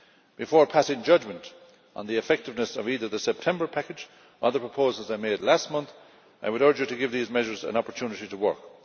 Before passing judgement on the effectiveness of either the September package or the proposals I made last month, I would urge you to give those measures the opportunity to work.